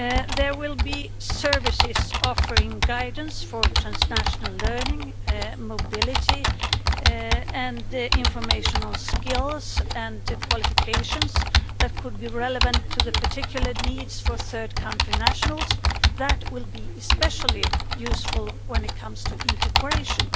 There will be services offering guidance for transnational learning, mobility and information on skills and qualifications that could be relevant to the particular needs for third country nationals and that will be especially useful when it comes to integration.